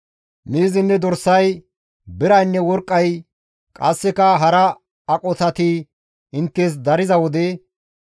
miizinne dorsay, biraynne worqqay qasseka hara aqotati inttes dariza wode,